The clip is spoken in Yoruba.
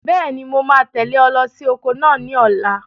Bẹ́ẹ̀ni, mo máa tẹ̀lé ọ lọ sí oko náà ní ọ̀la.